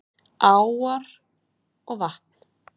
Áar og vatn